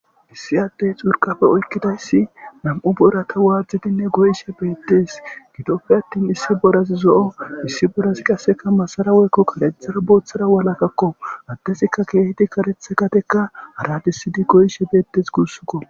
issi addey xurqafe oykkidayssi nam7u borata waaxdinne goyishe beettes gidoppe attin issi borazi zo7o issi borazi qasseka masara woykko karethara booththara walakakko addezikka keehidi karetha gadeka haradisidi goyishe beettes gussukko